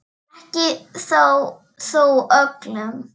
Ekki þó öllum.